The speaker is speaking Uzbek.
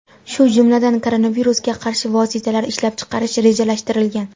shu jumladan koronavirusga qarshi vositalar ishlab chiqarish rejalashtirilgan.